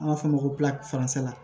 An b'a fɔ o ma ko